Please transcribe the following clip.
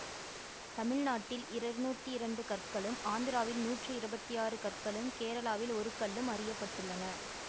தமிழ்நாட்டில் இருர்நூத்தி இரண்டு கற்களும் ஆந்திராவில் நூற்றி இருபத்தி ஆறு கற்களும் கேரளாவில் ஒரு கல்லும் அறிய பட்டுள்ளன